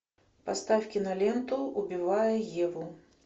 поставь киноленту убивая еву